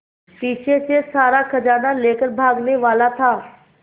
पीछे से सारा खजाना लेकर भागने वाला था